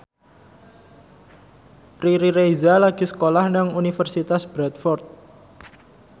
Riri Reza lagi sekolah nang Universitas Bradford